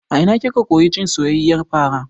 A ina kika koyi cin soyayyiyar fara?